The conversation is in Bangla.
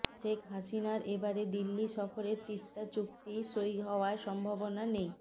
শেখ হাসিনার এবারের দিল্লি সফরে তিস্তা চুক্তি সই হওয়ার সম্ভাবনা নেই